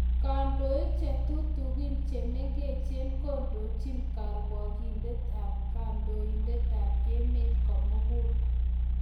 Kandoik chetutikin chekemeche kondochi karwagyinet ab kondoindet ab emet komogul